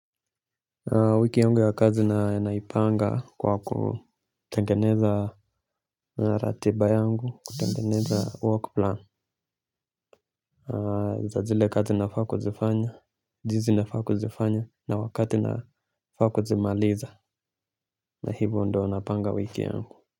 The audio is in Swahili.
Wiki yangu ya kazi na naipanga kwa kutengeneza ratiba yangu. Kutengeneza 'work plan' za zile kazi nafaa kuzifanya, jinsi nafaa kuzifanya, na wakati nafaa kuzimaliza na hivo ndio napanga wiki yangu.